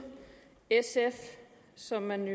sf som man